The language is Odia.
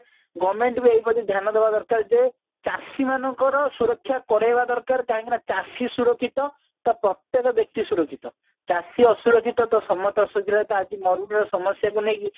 government ବି ଏଇପ୍ରତି ଧ୍ୟାନ ଦବା ଦରକାର ଯେ ଚାଷୀ ମାନଙ୍କର ସୁରକ୍ଷା କରେଇବା ଦରକାର କାହିଁକି ନା ଚାଷୀ ସୁରକ୍ଷିତ ତ ପ୍ରତ୍ୟକ ବ୍ୟକ୍ତି ସୁରକ୍ଷିତ ଚାଷୀ ଅସୁରକ୍ଷିତ ତ ସମସ୍ତେ ଅସୁରକ୍ଷିତ ଆଜି ମରୁଡ଼ିର ସମସ୍ଯା କୁ ନେଇକି